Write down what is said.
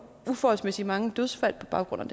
uforholdsmæssigt mange dødsfald på baggrund